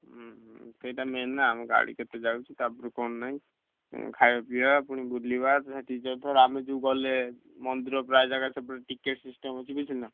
ହୁଁ ସେଇଟା main ନା ଆମ ଗାଡି କେତେ ଯାଉଛି ତାପରେ କଣ ନାଇଁ ଖାଇବା ପଈବା ପୁଣି ବୁଲିବା ଠାରେ ଆମେ ଯୋଉ ଗଲେ ମନ୍ଦିର ପ୍ରାୟେ ଜାଗା ticket system ଅଛି ବୁଝୁଛ ନା?